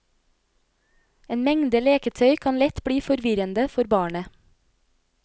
En mengde leketøy kan lett bli forvirrende for barnet.